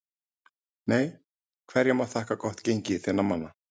NEI Hverju má þakka gott gengi þinna manna?